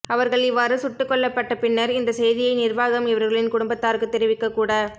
அவர்கள் இவ்வாறு சுட்டுக்கொல்லப்பட்டபின்னர் இந்த செய்தியை நிர்வாகம் இவர்களின் குடும்பத்தாருக்குத் தெரிவிக்கக் கூட